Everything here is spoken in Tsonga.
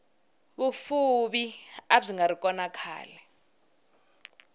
vufuvi abyingari kona khale